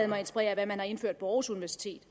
mig inspirere af hvad man har indført på aarhus universitet